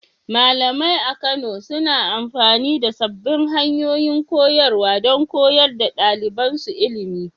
Malamai a Kano suna amfani da sabbin hanyoyin koyarwa don koyar da ɗalibansu ilimi.